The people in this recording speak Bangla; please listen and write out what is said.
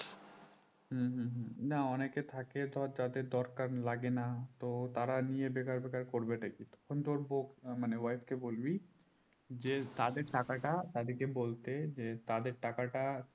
হুম হুম হুম না অনেকে থাকে ধর যাদের দরকার লাগে না তো তারা নিয়ে বেকার বেকার করবেটা কি তখন তোর বৌ মানে wife কে বলবি যে তাদের টাকাটা তাদেরকে বলতে যে তাদের টাকাটা